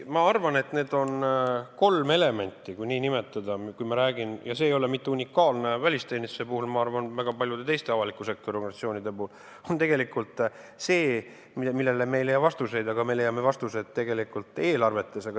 Ma arvan, et need kolm elementi, kui nii nimetada – see ei ole välisteenistuse puhul unikaalne, vaid ma arvan, et see on nii ka väga paljude teiste avaliku sektori organisatsioonide puhul –, on tegelikult need, millele me ei leia siit vastuseid, aga me leiame vastused eelarvest.